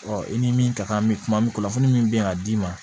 i ni min ka kan bɛ kuma min kunnafoni min bɛ yan d'i ma